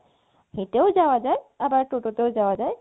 হেটেও যাওয়া যায় আবার টোটোতেও যাওয়া যায়